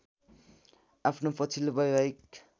आफ्नो पछिल्लो वैवाहिक